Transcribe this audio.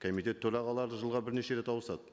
комитет төрағалары жылға бірнеше рет ауысады